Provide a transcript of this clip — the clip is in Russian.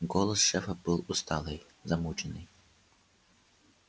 голос шефа был усталый замученный